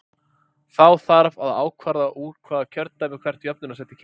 Þá þarf að ákvarða úr hvaða kjördæmi hvert jöfnunarsæti kemur.